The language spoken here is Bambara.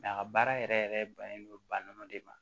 a ka baara yɛrɛ yɛrɛ bɛnnen don ba nɔ de ma